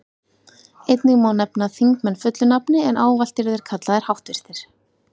Einnig má nefna þingmenn fullu nafni, en ávallt eru þeir kallaðir háttvirtir.